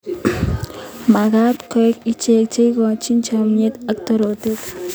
Magat koek ichek che ikochin chomyet ak torotet.